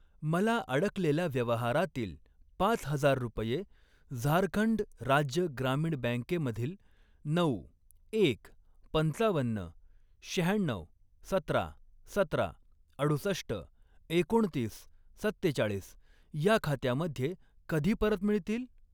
मला अडकलेल्या व्यवहारातील पाच हजार रुपये झारखंड राज्य ग्रामीण बँके मधील नऊ, एक, पंचावन्न, शहाण्णऊ, सतरा, सतरा, अडुसष्ट, एकोणतीस, सत्तेचाळीस ह्या खात्यामध्ये कधी परत मिळतील?